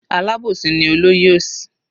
Alábòsí ni olóyè òsì.